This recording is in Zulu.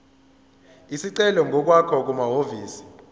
isicelo ngokwakho kumahhovisi